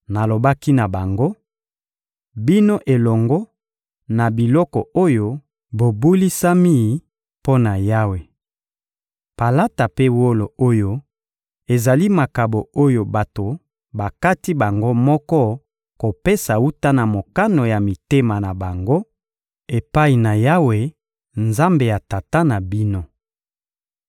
Nalobaki na bango: «Bino elongo na biloko oyo, bobulisami mpo na Yawe. Palata mpe wolo oyo ezali makabo oyo bato bakati bango moko kopesa wuta na mokano ya mitema na bango, epai na Yawe, Nzambe ya tata na bino.